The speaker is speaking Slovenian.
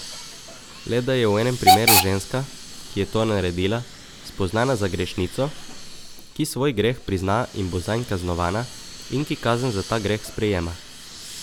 Le da je v enem primeru ženska, ki je to naredila, spoznana za grešnico, ki svoj greh prizna in bo zanj kaznovana in ki kazen za ta greh sprejema.